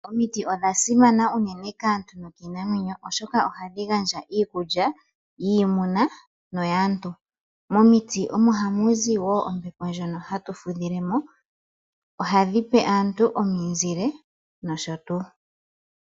Omiti odha simana unene kaantu nokiinamwenyo, oshoka ohadhi gandja iikulya yiimuna noyaantu. Momiti omo hamu zi woo ombepo ndjono hatu fudhile mo. Ohadhi pe aantu ominzile, nosho tuu.